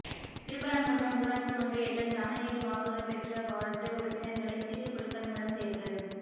திருப்பரங்குன்றம் ஊராட்சி ஒன்றியத்தில் சமநிலையில் வாக்குகள் பெற்றவாா்டு உறுப்பினா்களை சீட்டு குலுக்கல் மூலம் தோ்வு